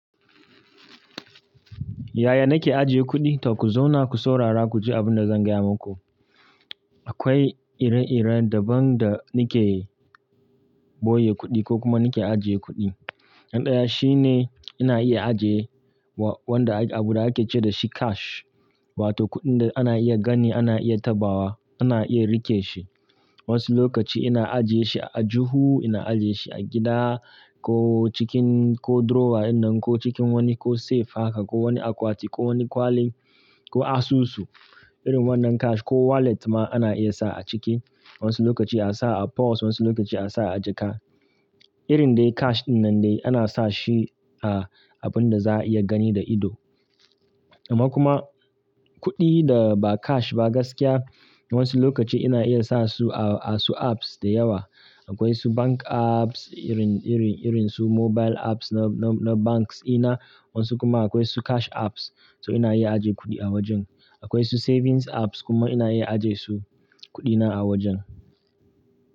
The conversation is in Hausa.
Yaya nake ajiye kuɗi? To ku zauna ku saurara ku ji abin da zan gaya maku. Akwai ire-ire daban da nake boye kuɗi ko kuma nake ajiye kuɗi. Na ɗaya shine ina iya ajiye wa-- wanda abuda ake ce dashi cash wato kuɗin da ana iya gani, ana iya taɓawa, ana iya rike shi. Wasu lokaci ina ajiyeshi a aljuhu, ina ajiyeshi a gida ko cikin ko drawer ɗinnan ko cikin wani ko safe haka ko wani akwati ko wani kwalin ko asusu irin wannan cash ko wallet ma ana iya sa a ciki. Wasu lokaci a'sa a purse, wasu lokaci a'sa a jaka. Irin dai cash ɗinnan dai ana sa shi a abunda za'a iya gani da ido. Amma kuma kuɗi da ba cash ba gaskiya wasu lokaci ina iya sa su a asu apps da yawa. Akwai su bank apps irin, irin, irin su mobile apps na, na, na banks ina wasu kuma akwai su cash apps to ina iya ajiye kuɗi a wajen. Akwai su savings apps kuma ina iya ajiyesu kuɗina a wajen.